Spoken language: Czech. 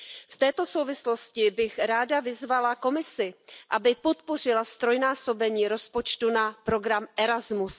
V této souvislosti bych ráda vyzvala Komisi, aby podpořila ztrojnásobení rozpočtu na program Erasmus.